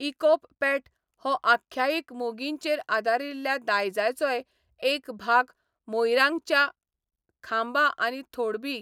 इकोप पॅट हो आख्यायिक मोगींचेर आदारिल्ल्या दायजाचोय एक भाग मोइरांगच्या खांबा आनी थोइबी.